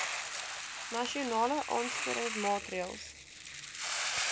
nasionale aansporingsmaatre ls